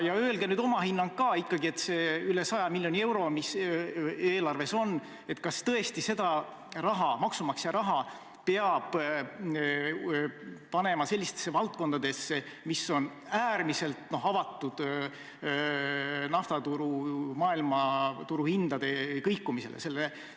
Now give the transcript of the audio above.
Ja öelge oma hinnang ka: kas üle 100 miljoni euro maksumaksja raha ikka peab panema sellisesse valdkonda, mis on äärmiselt tundlik nafta maailmaturu hindade kõikumise suhtes?